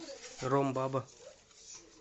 ромбаба